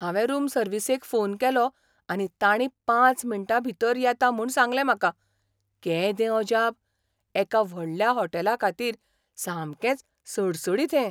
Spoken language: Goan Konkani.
हांवें रूम सर्विसेक फोन केलो आनी तांणी पांच मिनटां भितर येतां म्हूण सांगलें म्हाका. केदें अजाप! एका व्हडल्या होटॅलाखातीर सामकेंच सडसडीत हें!